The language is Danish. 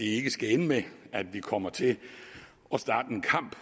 ikke skal ende med at vi kommer til at starte en kamp